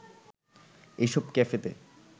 এসব ক্যাফেতে